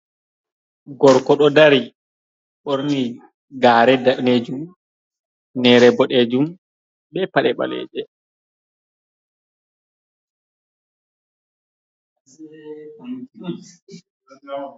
Gorko ɗo dari ɓorni gaare daneejum hufneere boɗeejum be paɗe ɓaleje.